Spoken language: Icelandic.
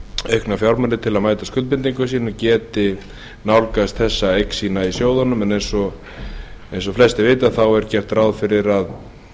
aukna fjármuni til að mæta skuldbindingum sínum geti nálgast þessa eign sína í sjóðunum en eins og flestir vita er gert ráð fyrir að